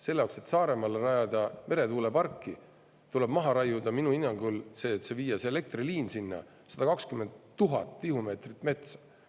Selle jaoks, et Saaremaale rajada meretuuleparki, et viia see elektriliin sinna, tuleb minu hinnangul maha raiuda 120 000 tihumeetrit metsa.